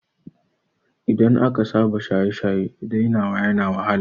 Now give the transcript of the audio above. Idan aka saba shaye-shaye dainawa yana wahala